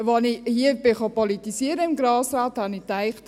Als ich hier politisieren kam, in den Grossen Rat, dachte mir: